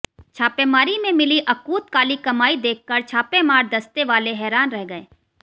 छापेमारी में मिली अकूत काली कमाई देखकर छापामार दस्ते वाले हैरान रह गये